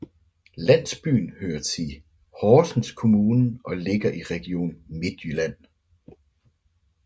Landsbyen hører tii Horsens Kommune og ligger i Region Midtjylland